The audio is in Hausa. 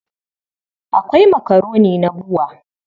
Akwai makaroni na BUA.